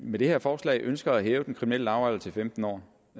med det her forslag ønsker at hæve den kriminelle lavalder til femten år